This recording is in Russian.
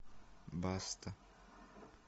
баста